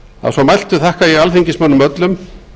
að svo mæltu þakka ég alþingismönnum öllum